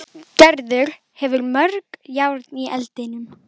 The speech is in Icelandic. Gerður hefur mörg járn í eldinum.